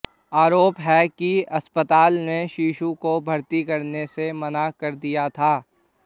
आरोप है कि अस्पताल ने शिशु को भर्ती करने से मना कर दिया था